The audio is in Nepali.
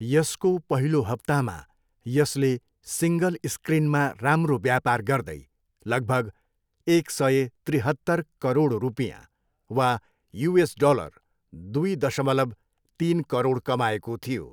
यसको पहिलो हप्तामा यसले सिङ्गल स्क्रिनमा राम्रो व्यापार गर्दै लगभग एक सय त्रिहत्तर करोड रुपियाँ वा युएस डलर दुई दशमलव तिन करोड कमाएको थियो।